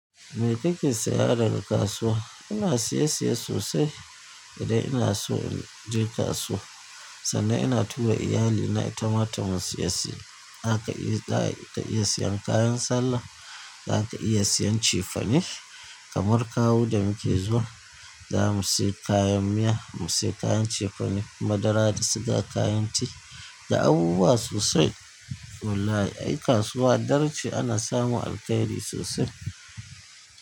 Me kake saya daga kasuwa? Ina siya siya sosai idan ina so in je kasuwa sannan ina tura iyali na itama ta mun siya siya. Zaka iya siya kayan sallah, zaka iya siyan cefane, kamar kawu da muke zuwa zamu siya kayan miya, mu siya kayan cefane, madara da suga, kayan tea da abubuwa sosai. Wallahi ai kasuwa dar ce ana samun alkhairi sosai.